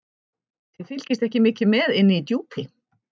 Þið fylgist ekki mikið með inni í Djúpi.